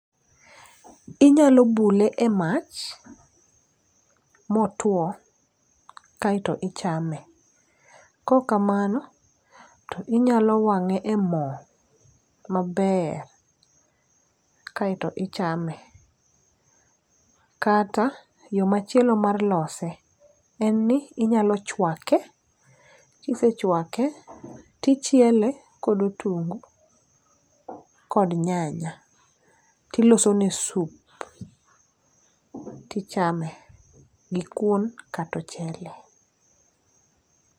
Inyalo bule e mach motwo, kaeto ichame. Kokamano, to inyalo wang'e e mo maber kaeto ichame. Kata yo machielo mar lose, en ni inyalo chwake, kisechwake tichiele kod otungu kod nyanya. Tilosone sup tichame gi kuon katochele.